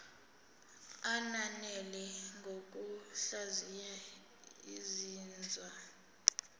ananele ngokuhlaziya izinzwa